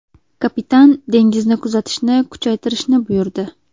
Kapitan dengizni kuzatishni kuchaytirishni buyurdi.